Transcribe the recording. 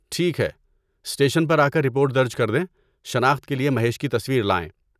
ٹھیک ہے، اسٹیشن پر آکر رپورٹ درج کردیں، شناخت کے لیے مہیش کی تصویر لائیں۔